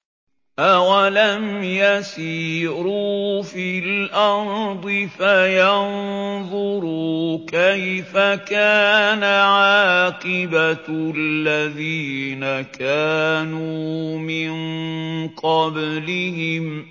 ۞ أَوَلَمْ يَسِيرُوا فِي الْأَرْضِ فَيَنظُرُوا كَيْفَ كَانَ عَاقِبَةُ الَّذِينَ كَانُوا مِن قَبْلِهِمْ ۚ